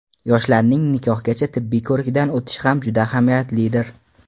Yoshlarning nikohgacha tibbiy ko‘rikdan o‘tishi ham juda ahamiyatlidir.